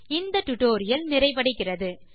இந்த டுடோரியல் நிறைவடைகிறது